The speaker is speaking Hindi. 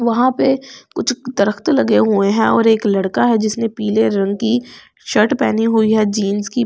वहां पे कुछ दरख्त लगे हुए हैं और एक लड़का है जिसने पीले रंग की शर्ट पहनी हुई है जींस की --